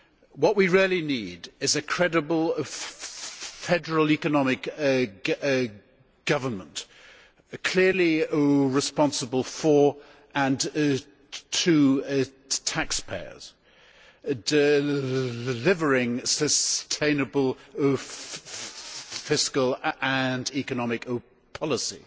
What we really need is a credible federal economic government clearly responsible for and to taxpayers and delivering sustainable fiscal and economic policy.